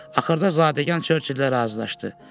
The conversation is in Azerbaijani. Axırda zadəgan Churchilllə razılaşdı.